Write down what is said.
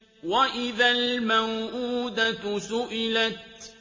وَإِذَا الْمَوْءُودَةُ سُئِلَتْ